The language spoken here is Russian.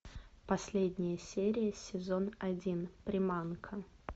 последняя серия сезон один приманка